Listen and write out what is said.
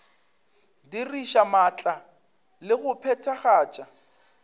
diriša maatla le go phethagatša